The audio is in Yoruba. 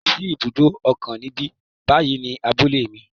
Kò sí ibùdó òkun níbí bàyìí ní abúlé mi